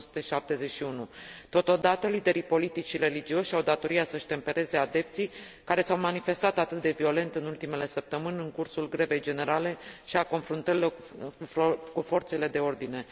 1971. Totodată, liderii politici și religioși au datoria să își tempereze adepții, care s au manifestat atât de violent în ultimele săptămâni, în cursul grevei generale și al confruntărilor cu forțele de ordine.